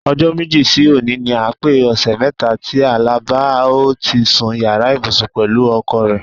O̩jó̩ méjì sí òní ni a pé ò̩sè̩ mé̩ta tí Àlàbá o ti sun yàrá ìbùsùn pè̩lú o̩ko̩ rè̩.